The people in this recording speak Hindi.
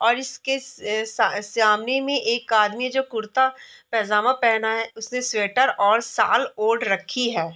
और इसके से से सामने में एक आदमी जो कुर्ता पेजमा पहना है उसने स्वेटर और शाल ओढ़ रखी है।